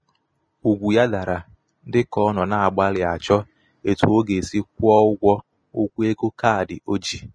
ugwu ya dara dị ka ọ nọ na-agbalị achọ etu ọ ga-esi kwụọ ụgwọ ụgwọ ego kaadị o ji.